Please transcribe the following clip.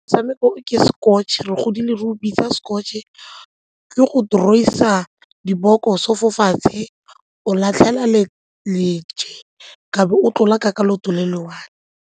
Motshameko o ke Scotch-e, re godile re go bitsa Scotch-e ke go draw-isa dibokoso fo fatshe, o latlhela leje ka be o tlolakaka ka leoto le le one.